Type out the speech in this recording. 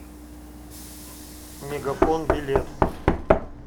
мегафон билет